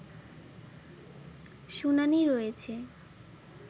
শুনানি রয়েছে